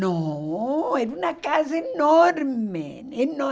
Não, era uma casa enorme enorme